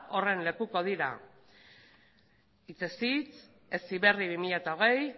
horren lekuko dira hitzez hitz heziberri bi mila hogei